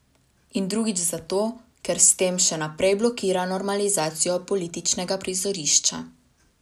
In drugič zato, ker s tem še naprej blokira normalizacijo političnega prizorišča.